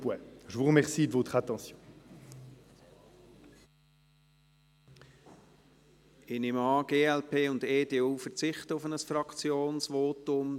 Ich nehme an, die die Fraktionen glp und EDU verzichten auf ein Fraktionsvotum.